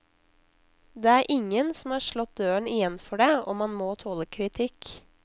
Det er ingen som har slått døren igjen for det, og man må tåle kritikk.